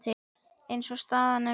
Eins og staðan er núna.